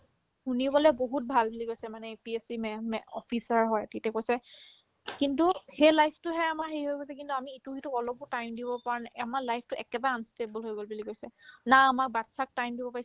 শুনিবলে বহুত ভাল বুলি কৈছে মানে APSC ma'am মে officer হয় তিহতে কৈছে কিন্তু সেই life তোহে আমাৰ হেৰি হৈ গৈছে কিন্তু আমি ইটোই সিটোক অলপো time দিব পৰা নাই আমাৰ life তো একেবাৰে unstable হৈ গ'ল বুলি কৈছে না আমাৰ batches ক time দিব পাৰিছো